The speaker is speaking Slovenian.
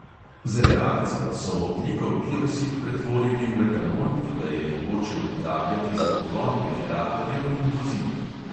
Z reakcijo so ogljikov dioksid pretvorili v etanol, ki ga je mogoče uporabljati za pogon generatorjev in vozil.